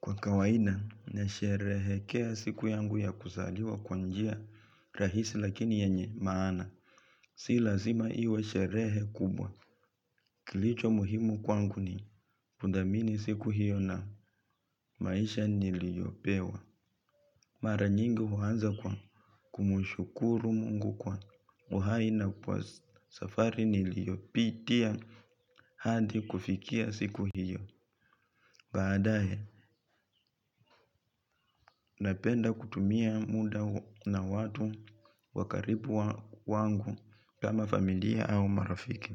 Kwa kawaida, nasherehekea siku yangu ya kusaliwa kwa njia rahisi lakini yenye maana. Si lazima iwe sherehe kubwa. Kilicho muhimu kwangu ni kudhamini siku hiyo na maisha niliyopewa. Mara nyingi huanza kwa kumushukuru mungu kwa uhai na kwa safari niliyopitia hadi kufikia siku hiyo. Baadae, napenda kutumia muda na watu wakaribu wangu kama familia au marafiki.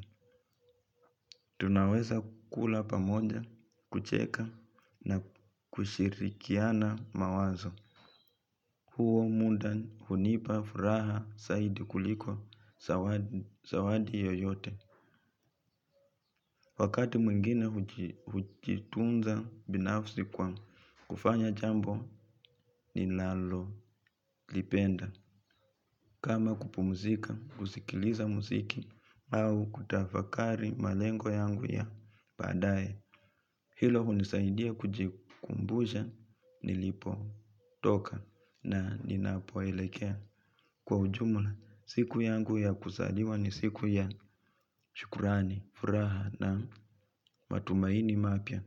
Tunaweza kula pamoja, kucheka na kushirikiana mawazo. Huo muda hunipa furaha saidi kuliko sawadi yoyote. Wakati mwingina hujitunza binafsi kwa kufanya jambo ni nalolipenda. Kama kupumuzika, kusikiliza muziki, au kutafakari malengo yangu ya baadae. Hilo unisaidia kujikumbusha nilipo toka na ninapoelekea. Kwa ujumla, siku yangu ya kusaliwa ni siku ya shukurani, furaha na matumaini mapya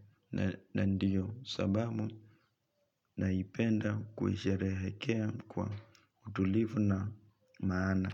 na ndiyo sababu naipenda kuisherehekea kwa utulivu na maana.